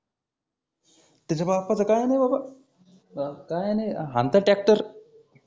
त्याच्या बापाचं काही नाही बाबा. अं काही नाही हानतं ट्रॅक्टर